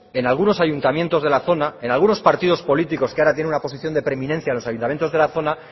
en algunos ayuntamientos de la zona en algunos partidos políticos que ahora tienen una posición de preeminencia en los ayuntamientos de la zona